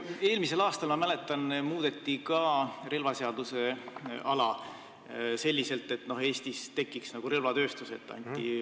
Eelmisel aastal, ma mäletan, muudeti relvaseaduse ala selliselt, et Eestis tekiks relvatööstus.